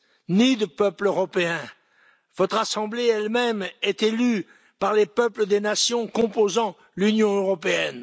ni de peuple européen. Votre assemblée elle même est élue par les peuples des nations composant l'Union européenne.